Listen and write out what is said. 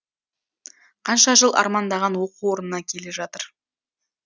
қанша жыл армандаған оқу орнына келе жатыр